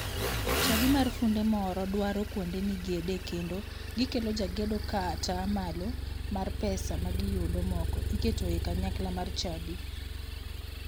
Chadi mar funde moro dwaro kuonde migede kendo gikelo jagedo ka ata malo mar pesa ma giyudo moko iketo e kanyakla mar chadi.